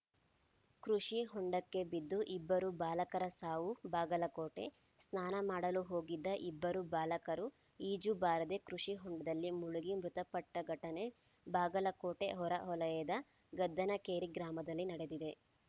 ಕೃಷಿ ಹೊಂಡಕ್ಕೆ ಬಿದ್ದು ಇಬ್ಬರು ಬಾಲಕರ ಸಾವು ಬಾಗಲಕೋಟೆ ಸ್ನಾನ ಮಾಡಲು ಹೋಗಿದ್ದ ಇಬ್ಬರು ಬಾಲಕರು ಈಜು ಬಾರದೆ ಕೃಷಿ ಹೊಂಡದಲ್ಲಿ ಮುಳುಗಿ ಮೃತಪಟ್ಟಘಟನೆ ಬಾಗಲಕೋಟೆ ಹೊರ ವಲಯದ ಗದ್ದನಕೇರಿ ಗ್ರಾಮದಲ್ಲಿ ನಡೆದಿದೆ